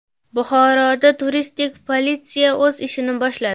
Buxoroda turistik politsiya o‘z ishini boshladi.